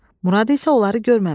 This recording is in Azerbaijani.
Murad isə onları görməmişdi.